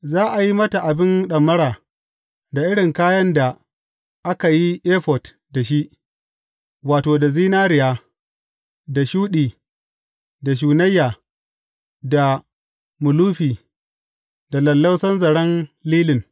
Za a yi mata abin ɗamara da irin kayan da aka yi efod da shi, wato, da zinariya, da shuɗi, da shunayya, da mulufi, da lallausan zaren lilin.